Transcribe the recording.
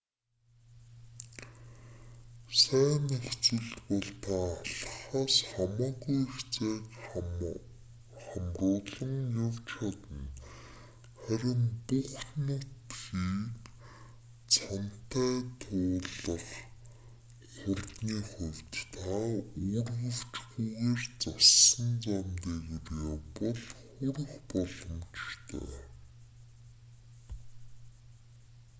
сайн нөхцөлд бол та алхахаас хамаагүй их зайг хамруулан явж чадна харин бүх нутгийг цанатай туулах хурдны хувьд та үүргэвчгүйгээр зассан зам дээгүүр явбал хүрэх боломжтой